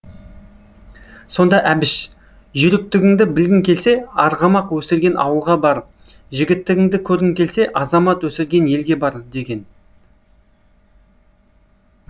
сонда әбіш жүйріктігіңді білгің келсе арғымақ өсірген ауылға бар жігіттігіңді көргің келсе азамат өсірген елге бар деген